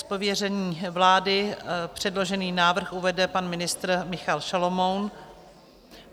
Z pověření vlády předložený návrh uvede pan ministr Michal Šalomoun.